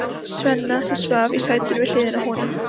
Svenna, sem svaf í sætinu við hliðina á honum.